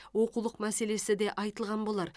оқулық мәселесі де айтылған болар